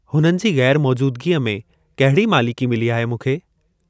हुननि जी ग़ैरमौजूदगीअ में कहिड़ी मालिकी मिली आहे मूंखे?